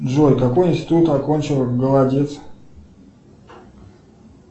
джой какой институт окончила голодец